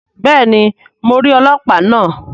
Béèni, Mó n ríi ọlọpa náà